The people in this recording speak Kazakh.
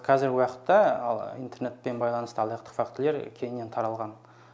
қазіргі уақытта ал интернетпен байланысты алаяқтық фактілері кеңінен таралған